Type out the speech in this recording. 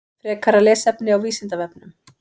Frekara lesefni á Vísindavefnum: